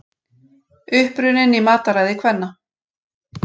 Uppruninn í mataræði kvenna